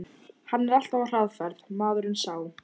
Hann er alltaf á hraðferð, maðurinn sá.